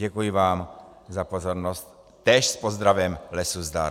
Děkuji vám za pozornost, též s pozdravem lesu zdar.